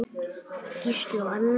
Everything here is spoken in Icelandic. Gísli og Anna.